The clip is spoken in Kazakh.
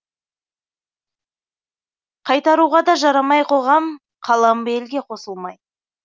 қайтаруға да жарамай қоғам қалам ба елге қосылмай